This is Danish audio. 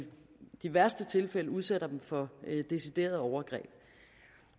de værste tilfælde udsætter dem for deciderede overgreb